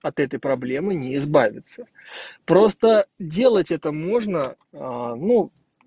от этой проблемы не избавиться просто делать это можно а ну